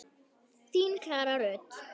Þín Klara Rut.